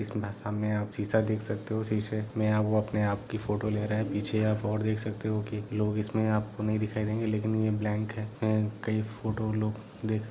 इसमे सामने आप शीशा देख सकते हो शीशे में वो अपने आप की फोटो ले रहे हैं पीछे आप और देख सकते हो की लोग इसमे आपको नही दिखाई देंगे लेकिन ये ब्लैंक हैं कई फोटो लोग देख--